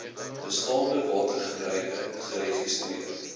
bestaande watergebruike geregistreer